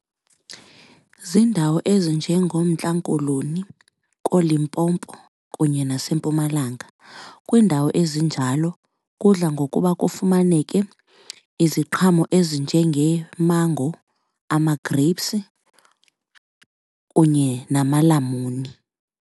Ziindawo ezinjengoMntla Koloni, kooLimpopo kunye naseMpumalanga. Kwiindawo ezinjalo kudla ngokuba kufumaneke iziqhamo ezinjengeemango, ama-grapes kunye namalamuni.